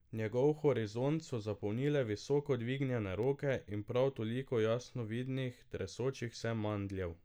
Njegov horizont so zapolnile visoko dvignjene roke in prav toliko jasno vidnih, tresočih se mandljev.